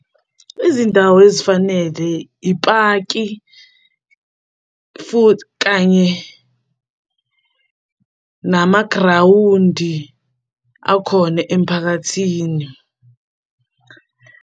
Izindawo ezifanele ipaki futhi kanye nama grawundi akhona emphakathini.